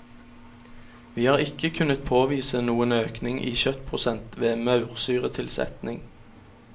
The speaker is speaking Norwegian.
Vi har ikke kunnet påvise noen økning i kjøttprosent ved maursyretilsetning.